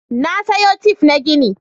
na saya tishun banɗaki da naje kasuwa